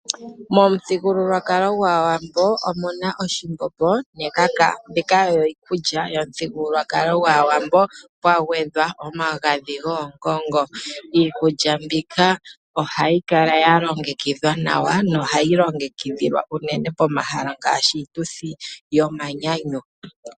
Momuthigululwakalo gwAawambo omu na oshimbombo nekaka. Mbika oyo iikulya yomuthigululwakalo gwAawambo, pwa gwedhwa omagadhi goongongo. Iikulya mbika ohayi hala ya longekidhwa nawa, nohayi longekidhilwa unene pomahala ngaashi iituthi yomanyanyu.